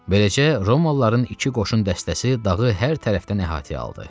Beləcə Romalıların iki qoşun dəstəsi dağı hər tərəfdən əhatəyə aldı.